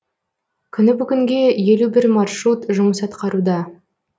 күні бүгінге елу бір маршрут жұмыс атқаруда